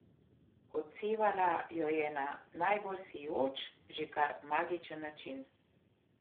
Odsevala jo je na najbolj sijoč, že kar magičen način.